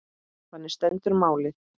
Þannig stendur málið.